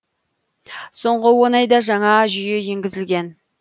соңғы он айда жаңа жүйе енгізілген